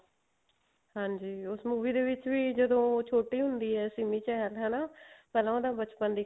ਹਾਂਜੀ ਉਸ movie ਦੇ ਵਿੱਚ ਜਦੋਂ ਛੋਟੀ ਹੁੰਦੀ ਹੈ ਸਿਮੀ ਚਹਿਲ ਹਨਾ ਪਹਿਲਾਂ ਉਹਦਾ ਬਚਪਨ